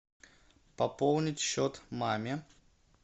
пополнить счет маме